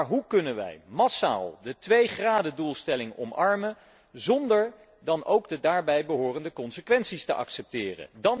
Maar hoe kunnen wij massaal de twee gradendoelstelling omarmen zonder de daarbij behorende consequenties te accepteren?